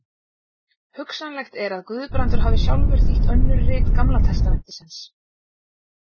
hugsanlegt er að guðbrandur hafi sjálfur þýtt önnur rit gamla testamentisins